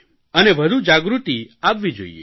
અને વધુ જાગૃતિ આવવી જોઇએ